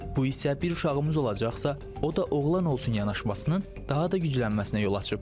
Bu isə bir uşağımız olacaqsa, o da oğlan olsun yanaşmasının daha da güclənməsinə yol açıb.